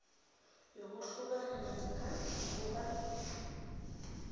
yokuhlukana namkha ukuba